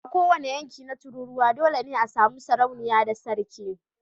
A kowane yanki na tururuwa dole ne a sami sarauniya da sarki